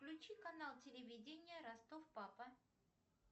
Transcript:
включи канал телевидения ростов папа